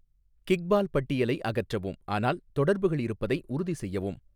kickball பட்டியலை அகற்றவும் ஆனால் தொடர்புகள் இருப்பதை உறுதி செய்யவும்